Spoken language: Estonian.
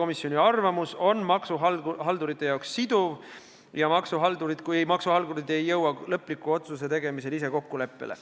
See arvamus on maksuhaldurite jaoks siduv, kui maksuhaldurid ei jõua lõpliku otsuse tegemiseks ise kokkuleppele.